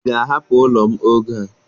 Ị ga-ahapụ ụlọ m oge a!